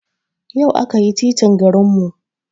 Yau aka yi titin garin mu